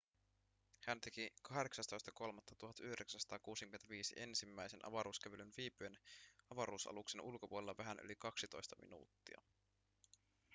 hän teki 18.3.1965 ensimmäisen avaruuskävelyn viipyen avaruusaluksen ulkopuolella vähän yli kaksitoista minuuttia